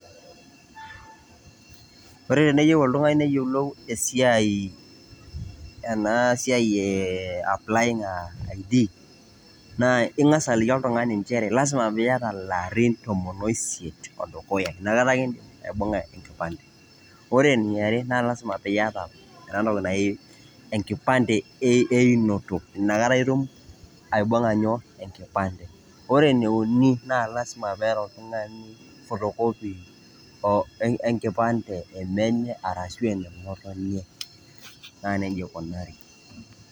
Ore tenieyeu oltung'ani neyolou esiai, ena siai ee ee applying ID, naa ing'asa aliki oltung'ani njere lazima piiyata ilarin tomon o isiet o dukuya inakata ake indim aibung'a enkipande. Ore eni are naa lazima piiyata enatoki naji enkipande einoto inakata itum aibung' a nyoo enkipande. Ore ene uni naa lazima pee eeta oltung'ani photocopy enkipande e menye arashu ene ng'otonye naa neija ikunari.